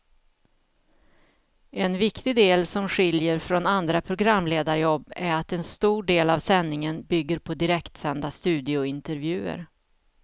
En viktig del som skiljer från andra programledarjobb är att en stor del av sändningen bygger på direktsända studiointervjuer.